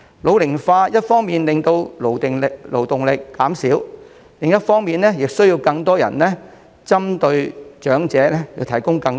老齡化一方面令勞動力減少，另一方面亦令針對長者的服務需求增加。